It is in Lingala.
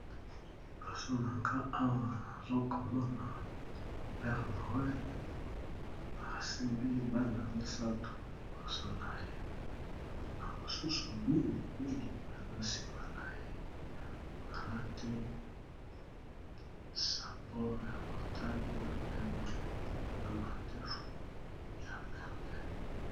liboso na nga 1 azokomona pere morel asembi bana misato liboso na ye na mosusu mingimingi baza nsima na ye alati sapor ya motani na pembe na mandefu ya pembe